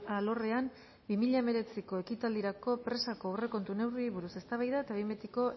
alorrean bi mila hemeretziko ekitaldirako presako aurrekontu neurriei buruz eztabaida eta behin betiko